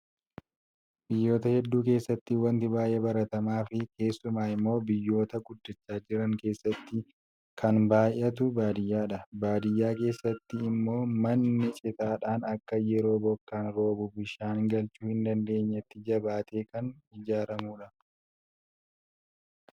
Biyyoota hedduu keessaatti wanti baay'ee baratamaa fi keessumaa immoo biyyoota guddachaa jiran keessatti kan baay'atu baadiyyaadha. Baadiyyaa keessatii immoo manni citaadhaan akka yeroo bokkaan roobu bishaan galchuu hin dandeenyetti jabaatee kan ijaraamudha.